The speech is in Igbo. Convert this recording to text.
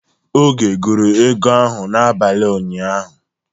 Oge gụrụ ego ahụ n'abalị ụnyaahụ.